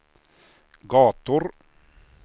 gator